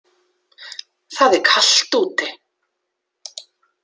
Það er kalt úti.